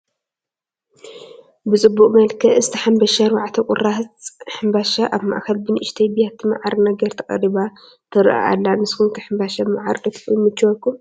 ብፅቡቕ መልክዕ ዝተሓንበሸ 4 ቁራፅ ሕንባሻ፣ ኣብ ማእኸል ብንእሽተይ ብያቲ ማዓር ነገር ተቐሪባ ትረአ ኣላ፡፡ ንስኹም ከ ሕምባሻ ብማዓር ዶ ይምችወኩም?